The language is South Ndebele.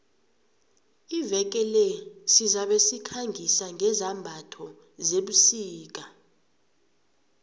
iveke le sizabe sikhangisa ngezambatho zebusika